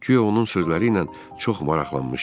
Guya onun sözləri ilə çox maraqlanmışdım.